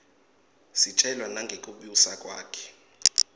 sitjelwa nangekibusa kwakhe